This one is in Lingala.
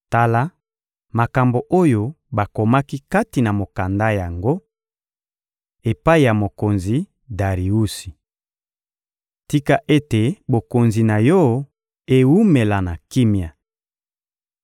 Tala makambo oyo bakomaki kati na mokanda yango: «Epai ya mokonzi Dariusi. Tika ete bokonzi na yo ewumela na kimia!